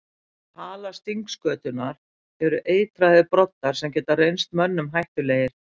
Á hala stingskötunnar eru eitraðir broddar sem geta reynst mönnum hættulegir.